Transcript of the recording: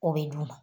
O bɛ d'u ma